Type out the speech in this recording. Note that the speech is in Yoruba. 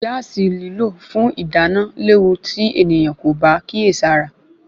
Gaasi lílò fún ìdáná léwu tí ènìyàn kò bá kíyèsára